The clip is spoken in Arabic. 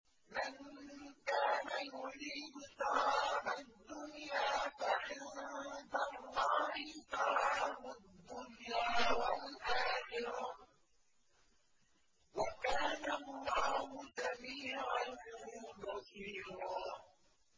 مَّن كَانَ يُرِيدُ ثَوَابَ الدُّنْيَا فَعِندَ اللَّهِ ثَوَابُ الدُّنْيَا وَالْآخِرَةِ ۚ وَكَانَ اللَّهُ سَمِيعًا بَصِيرًا